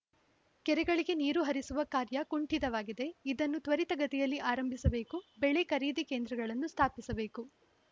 ಕೆರೆಗಳಿಗೆ ನೀರು ಹರಿಸುವ ಕಾರ್ಯಕುಂಠಿತವಾಗಿದೆ ಇದನ್ನು ತ್ವರಿತಗತಿಯಲ್ಲಿ ಆರಂಭಿಸಬೇಕು ಬೆಳೆ ಖರೀದಿ ಕೇಂದ್ರಗಳನ್ನು ಸ್ಥಾಪಿಸಬೇಕು